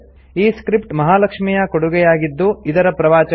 ಈ ಸ್ಕ್ರಿಪ್ಟ್ ಮಹಾಲಕ್ಷ್ಮಿ ಯ ಕೊಡುಗೆಯಾಗಿದ್ದು ಇದರ ಪ್ರವಾಚಕ ಐ